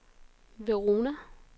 Verona